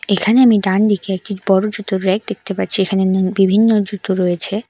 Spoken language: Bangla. এখানে আমি ডানদিকে একটি বড় জুতোর র‍্যাক দেখতে পাচ্ছি এখানে নি বিভিন্ন জুতো রয়েছে।